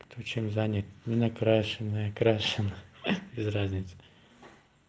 кто чем занят ненакрашенная крашена без разницы